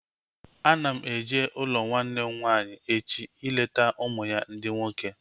Ana m eje n'ụlọ nwanne m nwaanyị echi ileta ụmụ ya ndị nwoke